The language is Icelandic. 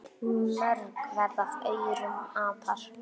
Mörg verða af aurum apar.